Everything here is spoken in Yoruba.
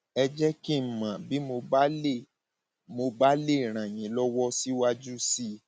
ẹ jẹ kí n mọ bí mo bá lè mo bá lè ràn yín lọwọ síwájú sí i